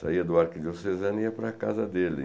Saía do Arquidiocesano e ia para a casa dele.